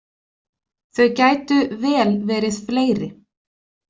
Þau gætu vel verið fleiri.